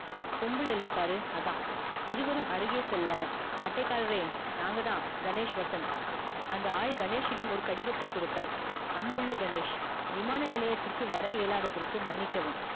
பொம்பள இல்ல பாரு அதா இருவரும் அருகே செல்ல அட்டைகாரரே நாங்கதா கணேஷ் வசந்த் அந்த ஆள் கணேஷ் இடம் ஒரு கடிதத்தை குடுத்தார் அன்புள்ள கணேஷ் விமான நிலையத்திற்கு வர இயலாதத்திற்க்கு மன்னிக்கவும்